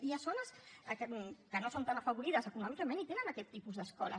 hi ha zones que no són tan afavorides econòmicament i tenen aquest tipus d’escoles